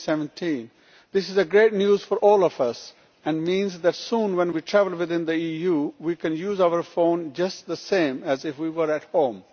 2017. This is great news for all of us and means that soon, when we travel within the EU, we can use our phone just the same as if we were at home.